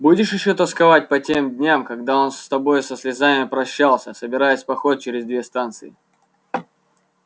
будешь ещё тосковать по тем дням когда он с тобой со слезами прощался собираясь в поход через две станции